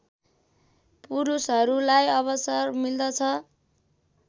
पुरूषहरूलाई अवसर मिल्दछ